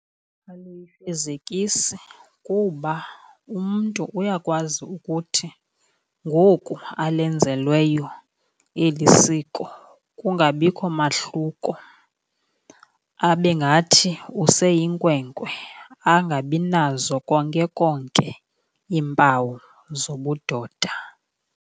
Aluyifezekisi kuba umntu uyakwazi ukuthi ngoku alenzelweyo eli siko kungabikho mahluko, abe ngathi useyinkwenkwe, angabinazo konke konke iimpawu zobudoda.